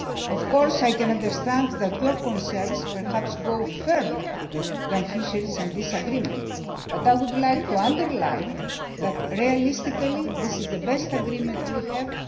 part. Of course I can understand that your concerns perhaps go further than fisheries and this agreement, but I would like to underline that realistically this is the best agreement we